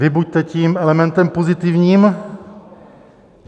Vy buďte tím elementem pozitivním.